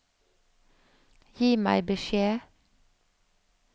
Gi meg beskjed